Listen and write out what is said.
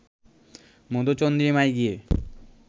মধুচন্দ্রিমায় গিয়ে